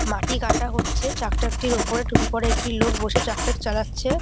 মাটি কাটা হচ্ছে ট্রাক্টার টির ওপরে টুপি পড়া একটি লোক বসে ট্রাক্টার চালাচ্ছে ।